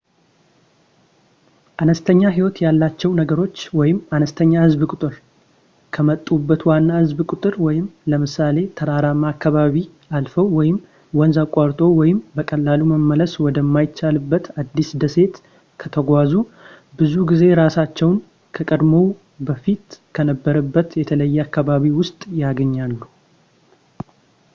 አነስተኛ ህይወት ያላቸው ነገሮች አነስተኛ ህዝብ ቁጥር ከመጡበት ዋና ህዝብ ቁጥር ለምሳሌ ተራራማ አካባቢ አልፈው ወይም ወንዝ አቋርጠው ወይም በቀላሉ መመለስ ወደ የማይችሉበት አዲስ ደሴት ከተጓዙ ብዙ ጊዜ እራሳቸውን ከቀድሞው በፊት ከነበሩበት በተለየ አካባቢ ውስጥ ያገኛሉ፡፡